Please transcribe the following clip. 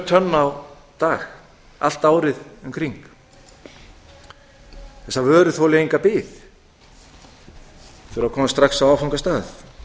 tonn á dag allt árið um kring þessar vörur þoli enga bið þurfi að komast strax á áfangastað flogið